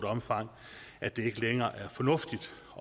omfang at det ikke længere er fornuftigt